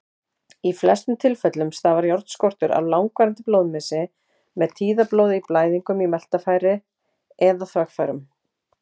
Í flestum tilfellum stafar járnskortur af langvarandi blóðmissi, með tíðablóði, blæðingu í meltingarfærum eða þvagfærum.